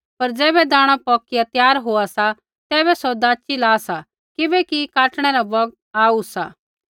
पर ज़ैबै दाणा पौकिया त्यार होआ सा तैबै सौ दाची ला सा किबैकि काटणै रा बौगत आऊ सा